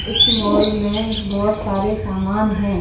इस मॉल में बहुत सारे सामान हैं।